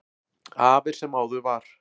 Af er sem áður var.